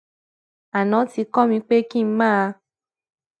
aná ti kó mi pé kí n máa